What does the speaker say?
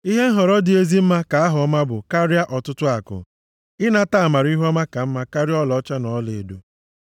Ihe nhọrọ dị ezi mma ka aha ọma bụ karịa ọtụtụ akụ, ịnata amara + 22:1 Maọbụ, mmadụ inwe ugwu ihuọma ka mma karịa ọlaọcha na ọlaedo.